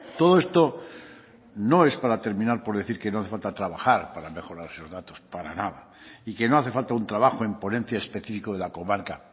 todo esto no es para terminar por decir que no hace falta trabajar para mejorar esos datos para nada y que no hace falta un trabajo en ponencia específico de la comarca